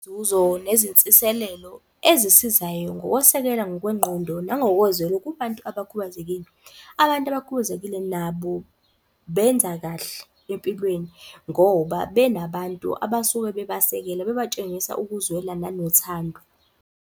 Inzuzo nezinsiselelo ezisizayo ngokwesekela ngokwengqondo nangokozwelo kubantu abakhubazekile. Abantu abakhubazekile nabo benza kahle empilweni, ngoba benabantu abasuke bebasekela bebatshengisa ukuzwela nanothando.